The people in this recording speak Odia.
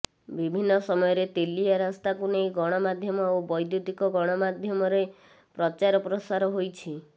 ବିଭିନ୍ନ ସମୟରେ ତେଲିଆ ରାସ୍ତାକୁ ନେଇ ଗଣମାଧ୍ୟମ ଓ ବୈଦୁ୍ୟତିକ ଗଣମାଧ୍ୟରେ ପ୍ରଚାର ପ୍ରାସର ହୋଇଛି